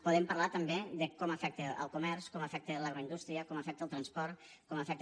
podem parlar també de com afecta el comerç com afecta l’agroindústria com afecta el transport com afecta